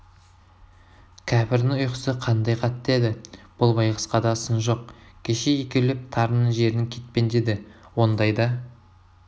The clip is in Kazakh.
кәпірдің ұйқысы қандай қатты еді бұл байғұсқа да сын жоқ кеше екеулеп тарының жерін кетпендеді ондайда